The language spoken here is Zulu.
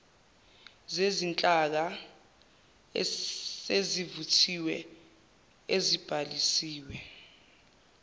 zezinhlaka esezivuthiwe ezibhalisiwe